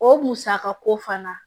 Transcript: O musakako fana